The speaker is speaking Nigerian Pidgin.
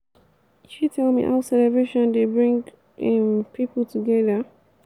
you fit tell me how celebration dey bring um people together?